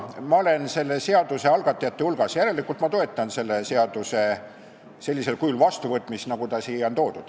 Mina olen selle seaduseelnõu algatajate hulgas, järelikult ma toetan seaduse sellisel kujul vastuvõtmist, nagu ta siia on toodud.